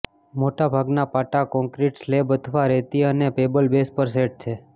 મોટાભાગના પાટા concrete slab અથવા રેતી અને પેબલ બેઝ પર સેટ છે